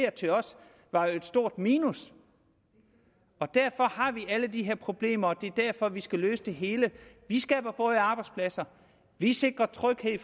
til os var jo et stort minus derfor har vi alle de her problemer og det er derfor vi skal løse det hele vi skaber både arbejdspladser vi sikrer tryghed i